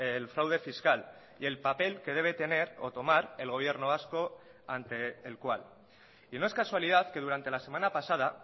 el fraude fiscal y el papel que debe tener o tomar el gobierno vasco ante el cual y no es casualidad que durante la semana pasada